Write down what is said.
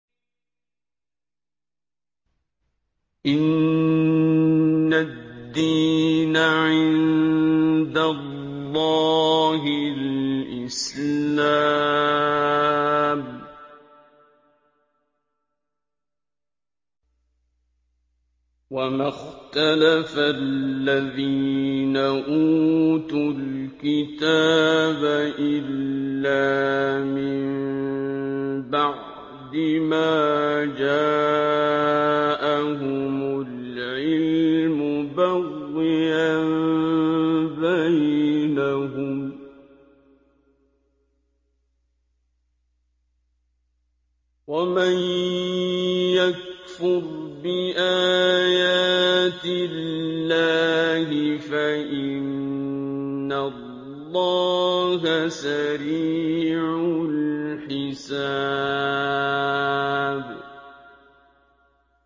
إِنَّ الدِّينَ عِندَ اللَّهِ الْإِسْلَامُ ۗ وَمَا اخْتَلَفَ الَّذِينَ أُوتُوا الْكِتَابَ إِلَّا مِن بَعْدِ مَا جَاءَهُمُ الْعِلْمُ بَغْيًا بَيْنَهُمْ ۗ وَمَن يَكْفُرْ بِآيَاتِ اللَّهِ فَإِنَّ اللَّهَ سَرِيعُ الْحِسَابِ